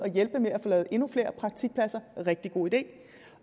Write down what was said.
hjælpe med at få lavet endnu flere praktikpladser rigtig god idé